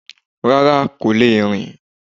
Rárá kò le rìn